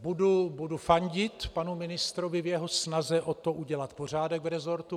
Budu fandit panu ministrovi v jeho snaze o to udělat pořádek v resortu.